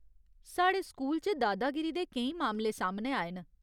साढ़े स्कूल च दादागिरी दे केईं मामले सामनै आए न।